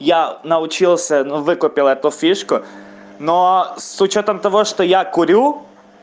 я научился но выкупил эту фишку но с учётом того что я курю